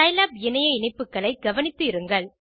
Scilab இணைய இணைப்புகளை கவனித்து இருங்கள்